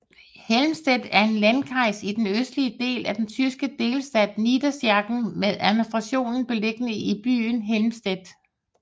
Helmstedt er en Landkreis i den østlige del af den tyske delstat Niedersachsen med administrationen beliggende i byen Helmstedt